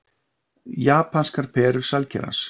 Japanskar perur sælkerans